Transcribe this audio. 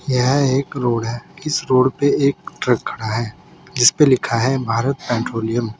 यह एक रोड है। इस रोड पे एक ट्रक खड़ा है जिसपे लिखा है भारत पैट्रोलियम ।